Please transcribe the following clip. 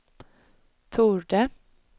torde